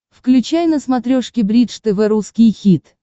включай на смотрешке бридж тв русский хит